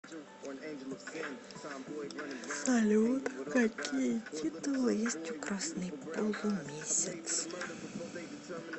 салют какие титулы есть у красный полумесяц